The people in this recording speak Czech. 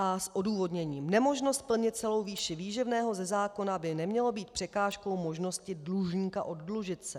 A s odůvodněním: Nemožnost plnit celou výši výživného ze zákona by neměla být překážkou možnosti dlužníka oddlužit se.